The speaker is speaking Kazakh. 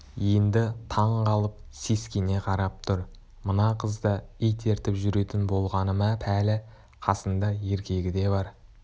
енді таң қалып сескене қарап тұр мына қыз да ит ертіп жүретін болғаны ма пәлі қасында еркегі де бар